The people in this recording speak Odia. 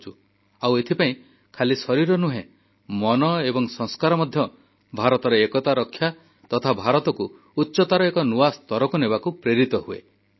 ଆଉ ଏଥିପାଇଁ ଖାଲି ଶରୀର ନୁହେଁ ମନ ଏବଂ ସଂସ୍କାର ମଧ୍ୟ ଭାରତର ଏକତା ରକ୍ଷା ତଥା ଭାରତକୁ ଉଚ୍ଚତାର ଏକ ନୂଆ ସ୍ତରକୁ ନେବାକୁ ଅନୁପ୍ରାଣିତ ହେଉଛି